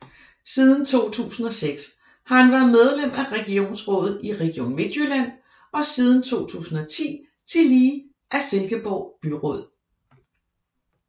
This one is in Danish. Siden 2006 har han været medlem af regionsrådet i Region Midtjylland og siden 2010 tillige af Silkeborg Byråd